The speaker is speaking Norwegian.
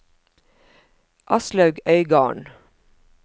Aslaug Øygarden